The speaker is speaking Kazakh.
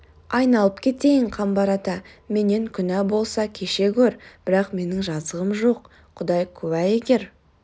айналып кетейін қамбар ата менен күнә болса кеше гөр бірақ менің жазығым жоқ құдай куә егер